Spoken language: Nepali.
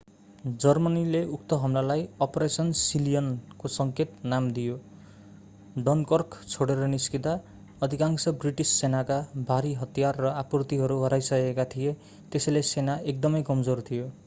जर्मनीले उक्त हमलालाई अपरेसन सिलियन को सङ्केत नाम दियो डनकर्क छोडेर निस्कँदा अधिकांश ब्रिटिस सेनाका भारी हतियार र आपूर्तिहरू हराइसकेका थिए त्यसैले सेना एकदमै कमजोर थियो